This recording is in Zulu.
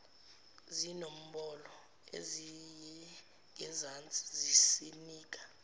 zinombolo ezingezansi zisinika